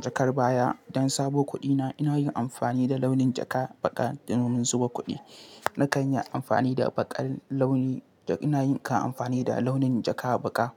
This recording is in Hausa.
jakar baya don sabo kuɗi na. Ina yin amfani da launin jaka baƙa domin mu zuba kuɗi. Na kan yi amfani da baƙar launi. Ina yin amfani da launin jaka baƙa.